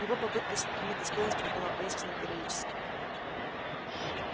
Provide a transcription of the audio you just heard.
его попытка сохранить достоинство была поистине героической